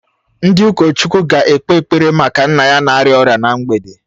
Ndị ụkọchukwu ga-ekpe ekpere maka nne ya na-arịa ọrịa na mgbede